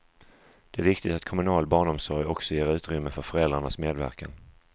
Det är viktigt att kommunal barnomsorg också ger utrymme för föräldrarnas medverkan.